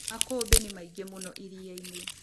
Makũmbĩ nĩmaingĩ mũno iriainĩ.